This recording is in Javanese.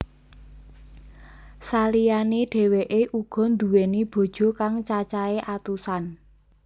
Saliyane dheweke uga nduweni bojo kang caacahe atusan